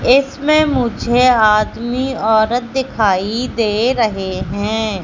इसमें मुझे आदमी औरत दिखाई दे रहे हैं।